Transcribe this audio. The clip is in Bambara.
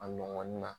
A ɲɔgɔn na